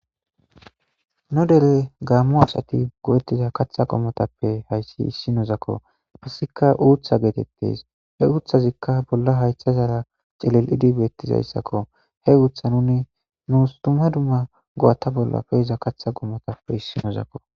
nu dere gaammo asati go'ettiza katha gommotappe hayssi issinozakko izika uutha geetettes he uuthazikka bolla haytha zaara celel'idi beettizayssakko he uutha nuni nuus duma dumma go'ata bolla pe'iza katha gommotappe issinozakko